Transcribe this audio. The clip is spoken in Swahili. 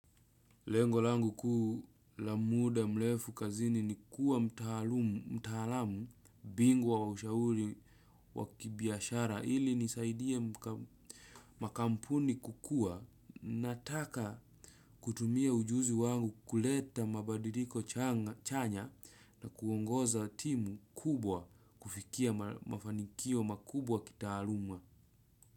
Lengo langu kuu la muda mrefu kazini ni kuwa mtaalamu bigwa wa ushauri wa kibiashara ili nisaidie makampuni kukua nataka kutumia ujuzi wangu kuleta mabadiriko chanya na kuongoza timu kubwa kufikia mafanikio makubwa kitaaluma.